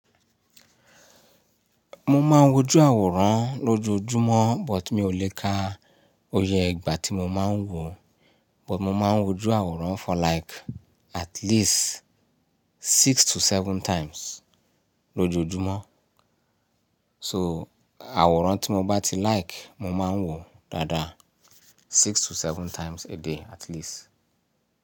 Mo máa ń wojú àwòrán lójoojúmọ́ but mi ò lè kà oyè ìgbà tí mo máa ń wò, but mo máa ń wojú àwòrán for like at least six to seven times lójoojúmọ́. So, àwòrán tí mo bá ti like, mo máa ń wò dáadáa six to seven times a day at least.